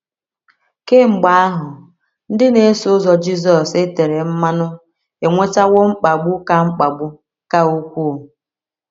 Kemgbe ahụ, ndị na - eso ụzọ Jizọs e tere mmanụ enwetawo mkpagbu ka mkpagbu ka ukwuu.